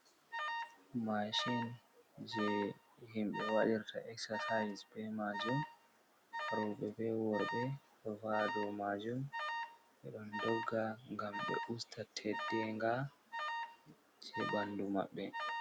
Mashin je himɓɓe waɗirta exercise be majum, roɓɓe be worɓɓe ɗo va'a dou majum, ɓe ɗon dogga ngam ɓe usta teddenga je ɓanɗu maɓɓe.